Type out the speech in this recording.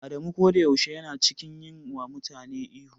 Adamu koda yaushe yana cikin yi wa mutane ihu.